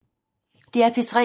DR P3